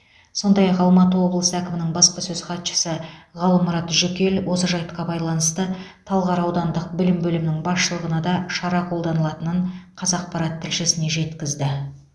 сондай ақ алматы облысы әкімінің баспасөз хатшысы ғалымұрат жүкел осы жайтқа байланысты талғар аудандық білім бөлімінің басшылығына да шара қолданылатынын қазақпарат тілшісіне жеткізді